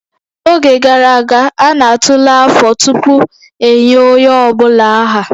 N'oge gara aga, a na-atụle afọ tupu enye onye ọ bụla aha